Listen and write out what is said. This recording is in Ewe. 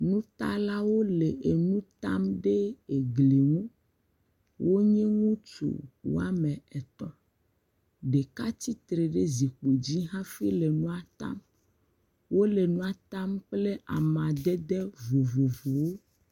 Nutalawo le nutam ɖe egli ŋu, wonye ŋutsu woame etɔ, ɖeka tsitre ɖe zikpui dzi hafi le nua tam, wòle nua tam kple amaɖeɖe vovovowo.